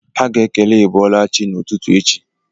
Ha ga-ekele iboolachi ha n'ututu echi